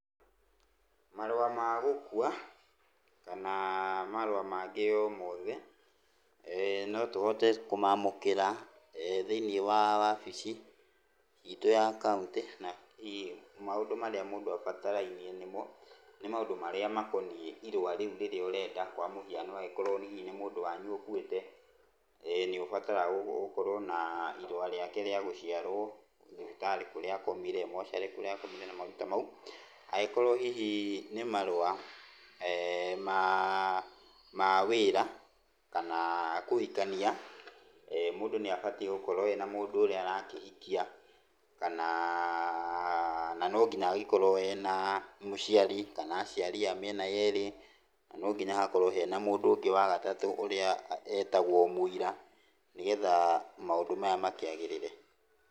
Marũa ma gũkua kana marũa mangĩ omothe, no tũhote kũmamũkĩra thĩinĩ wa wabici itũ ya kaũntĩ. Na hihi maũndũ marĩa mũndũ abatarainie nĩmo, nĩ maũndũ marĩa makoniĩ irũa rĩu rĩrĩa ũrenda. Kwa mũhiano akorwo hihi nĩ mũndũ wanyu ũkũĩte, nĩ ũbataraga gũkorwo na irũa rĩake rĩa gũciarwo, thibitarĩ kũrĩa akomire, mocarĩ kũrĩa akomire, maũndũ tamau. Angĩkorwo hihi nĩ marũa ma wĩra kana kũhikania, mũndũ nĩ abatiĩ gũgĩkorwo na mũndũ ũrĩa arakĩhikia, kana no nginya angĩkorwo ena mũciari, kana aciari a mĩena yeri, na nonginya hakorwo na hena mũndũ ya gatatũ, ũrĩa etagwo mũira nĩgetha maũndũ maya makĩagĩrĩre.